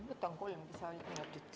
Võtan kolm lisaminutit.